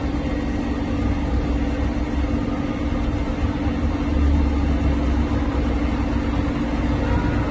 Azərbaycan dəmir yolları Səhmdar Cəmiyyətinin Bakı sərnişin stansiyası elan edir.